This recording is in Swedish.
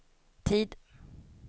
tid